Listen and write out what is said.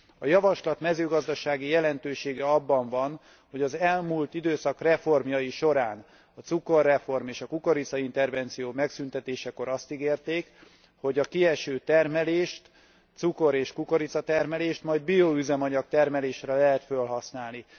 A javaslat mezőgazdasági jelentősége abban van, hogy az elmúlt időszak reformjai során a cukorreform és a kukoricaintervenció megszüntetésekor azt ígérték, hogy a kieső cukor és kukoricatermelést majd bioüzemanyag termelésre lehet felhasználni.